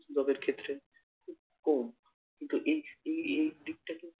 job এর ক্ষেত্রে খুব কম কিন্তু এই এই দিকটা কিন্তু